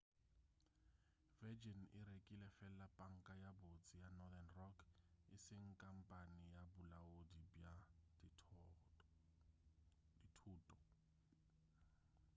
virgin e rekile fela panka ye botse' ya northern rock e seng khamphane ya bolaodi bja dithoto